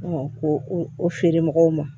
ko o feere mɔgɔw ma